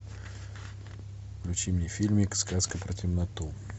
включи мне фильмик сказка про темноту